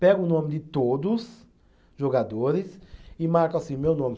Pega o nome de todos jogadores e marca assim, meu nome.